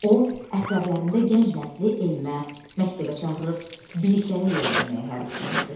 O əsərlərində gənc nəsli elmə, məktəbə çağırır, biliklərə yiyələnməyə həvəsləndirir.